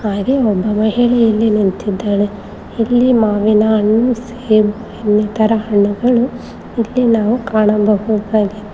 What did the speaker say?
ಹಾಗೆ ಒಬ್ಬ ಮಹಿಳೆ ಇಲ್ಲಿ ನಿಂತಿದ್ದಾಳೆ ಇಲ್ಲಿ ಮಾವಿನ ಹಣ್ಣು ಸೇಬು ಇನ್ನಿತರ ಹಣ್ಣುಗಳು ಇಲ್ಲಿ ನಾವು ಕಾಣಬಹುದಾಗಿದೆ.